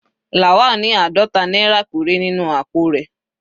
Lawal ní àádọta náírà péré nínú àpò rẹ̀.